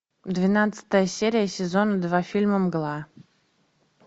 двенадцатая серия сезон два фильма мгла